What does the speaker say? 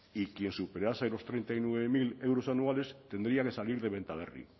y quien superase los treinta y nueve mil euros anuales tendría que salir de bentaberri